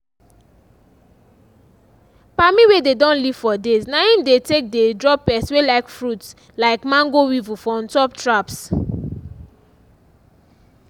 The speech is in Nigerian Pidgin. palmi wey dey don leave for days na im dey take dey draw pest wey like fruit like mango weevil for ontop traps